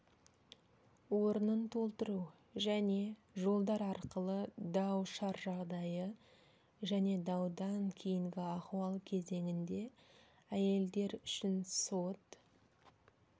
орнын толтыру және жолдар арқылы дау-шар жағдайы және даудан кейінгі ахуал кезеңінде әйелдер үшін сот